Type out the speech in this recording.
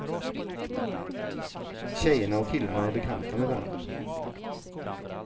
Tjejerna och killarna är bekanta med varandra.